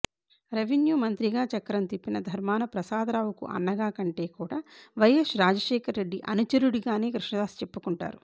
revenue మంత్రిగా చక్రం తిప్పిన ధర్మాన ప్రసాదరావుకు అన్నగా కంటే కూడా వైఎస్ రాజశేఖర్ రెడ్డి అనుచరుడిగానే కృష్ణదాస్ చెప్పుకొంటారు